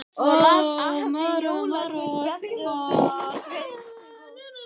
Svo las afi jólaguðspjallið og þau sungu Heims um ból.